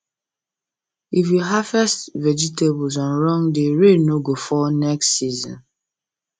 if you harvest vegetables on wrong day rain no go fall next season